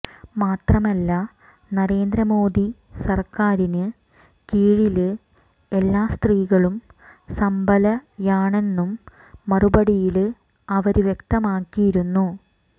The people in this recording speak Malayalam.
മാത്രമല്ല നരേന്ദ്രമോദി സര്ക്കാരിന് കീഴില് എല്ലാ സ്ത്രീകളും സബലയാണെന്നും മറുപടിയില് അവര് വ്യക്തമാക്കിയിരുന്നു